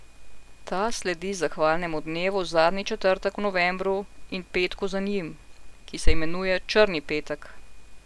Ta sledi zahvalnemu dnevu zadnji četrtek v novembru in petku za njim, ki se imenuje črni petek.